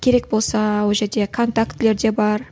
керек болса ол жерде контактілер де бар